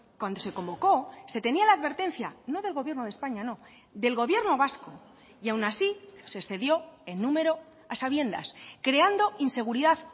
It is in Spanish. cuando se convocó se tenía la advertencia no del gobierno de españa no del gobierno vasco y aun así se excedió en número a sabiendas creando inseguridad